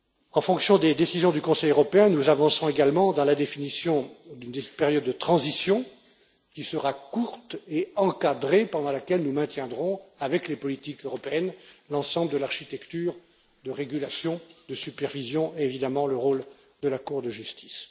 En fonction des décisions du Conseil européen, nous avancerons également dans la définition d'une période de transition qui sera courte et encadrée pendant laquelle nous maintiendrons, avec les politiques européennes, l'ensemble de l'architecture de régulation, de supervision et, évidemment, le rôle de la Cour de justice.